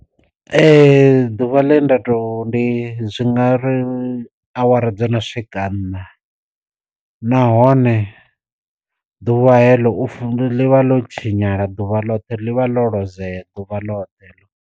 Ee ḓuvha ḽe nda to ndi zwi ngari awara dzo no swika nṋa, nahone ḓuvha heḽo ḽivha ḽo tshinyala ḓuvha ḽoṱhe ḽivha ḽo lozea ḓuvha ḽoṱhe heḽo.